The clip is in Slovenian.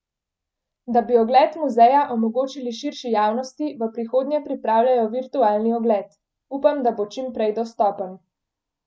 Da bi ogled muzeja omogočili širši javnosti v prihodnje pripravljajo virtualni ogled: 'Upam, da bo čim prej dostopen.